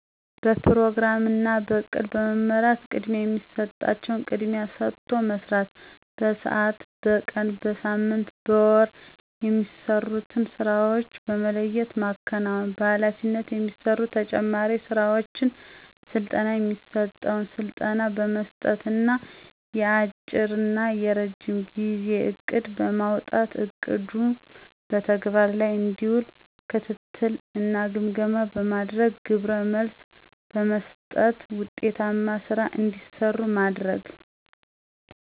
በፕሮግራም እናበእቅድ በመመራት ቅድማያየሚሠጣቸዉንቅድሚያ ሰጦ መስራት። በስዓት፣ በቀን፣ በሳምንት፣ በወር የማሰሩትንሥራዎች በመለየትማከናወን በኃላፊነት የሚሰሩ ተጨማሪ ሥራዎችን ሥልጠና የሚሰጠዉን ስልጠና በመስጠት እና የአጭረናየረጅም ጊዜእቅድ በማዉጣትእቅዱም በተግበር ላይእንዲዉል ክትትል እናግምገማ በማድአግ ግብረመልስ በመሥጠት ዉጤታማ ሥራ እንዲሰራ ማድርግ።